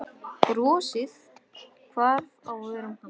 Brosið hvarf af vörum hans.